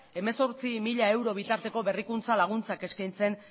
hemezortzi mila euro bitarteko berrikuntza laguntzak eskaintzen